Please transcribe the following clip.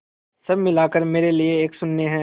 सब मिलाकर मेरे लिए एक शून्य है